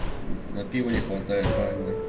м на пиво не хватает да мне